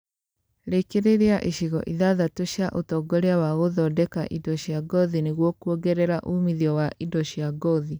Rĩkĩrĩria icigo ithathatu cia ũtongoria wa gũthongeka indo cia ngothi nĩgũo kũongerea uumitho wa indo cia ngothi